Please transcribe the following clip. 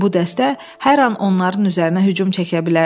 Bu dəstə hər an onların üzərinə hücum çəkə bilərdi.